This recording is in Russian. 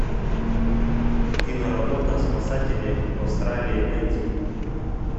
киноработа спасатели в австралии найти